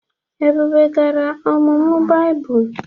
Ebube gara ọmụmụ Baịbụl.